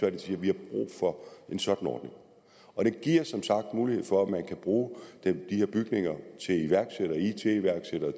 at de siger vi har brug for en sådan ordning det giver som sagt mulighed for at man kan bruge de her bygninger til iværksættere it iværksættere